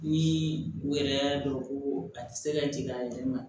Ni u yɛrɛ y'a dɔn ko a tɛ se ka jigin a yɛrɛ ma